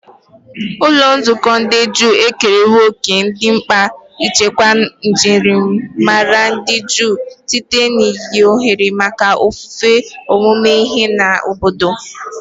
Ụlọ nzukọ ndị Juu ekerewo òkè dị mkpa n'ichekwa njirimara ndị Juu site n'inye ohere maka ofufe, ọmụmụ ihe, na obodo.